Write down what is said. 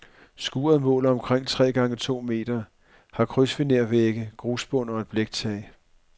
Skuret måler omkring tre gange to meter, har krydsfinervægge, grusbund og et bliktag.